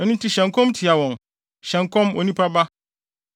Ɛno nti hyɛ nkɔm tia wɔn, hyɛ nkɔm, onipa ba.”